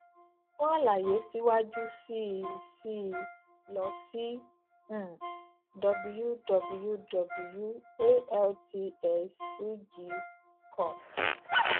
fún àlàyé síwájú sí i sí i lọ sí um wwwaltxugcom